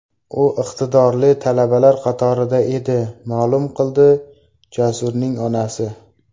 U iqtidorli talabalar qatorida edi”, ma’lum qildi Jasurning onasi.